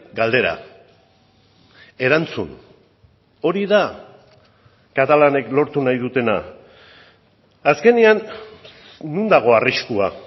galdera erantzun hori da katalanek lortu nahi dutena azkenean non dago arriskua